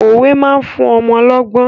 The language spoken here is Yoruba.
Òwe máa fún ọmọ lọ́gbọ́n.